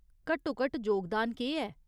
घट्टोघट्ट जोगदान केह् ऐ ?